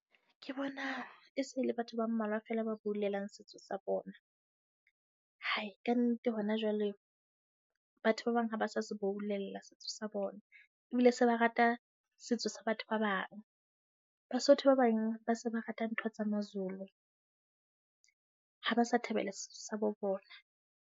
Ke bona e se le batho ba mmalwa fela ba boulellang setso sa bona. Hai, kannete hona jwale batho ba bang ha ba sa se boulella setso sa bona, ebile se ba rata setso sa batho ba bang. Basotho ba bang ba se ba rata ntho tsa Mazulu, ha ba sa thabela setso sa bo bona.